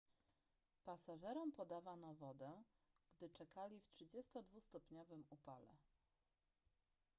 pasażerom podawano wodę gdy czekali w 32-stopniowym upale